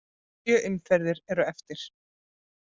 Sjö umferðir eru eftir.